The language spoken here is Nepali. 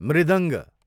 मृदङ्ग